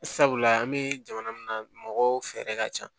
Sabula an bɛ jamana min na mɔgɔw fɛɛrɛ ka ca